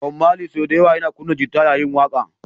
Bob Mali sau da yawa yana kunna gita yayin waƙa